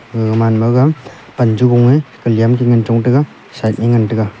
gaga man ma ga pan chu gong a kalem ke ngan chong ga sian te ngan taga.